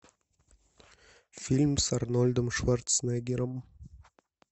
фильм с арнольдом шварценеггером